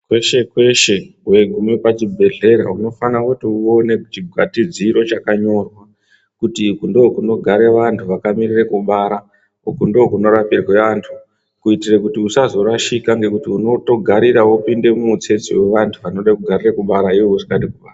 Kweshe kweshe weiguma pa chi bhedhlera unofana kuti uone chi gwatidziro chaka nyorwa kuti uku ndo kunogara vantu anoda vakamirira kubara uku ndiko kuno rapirwa vantu kuitira kuti usazo rashika ngekuti unoto garira wopinde mu mutsetse ve vantu vanogarire kubara iwewe usingadi kubara.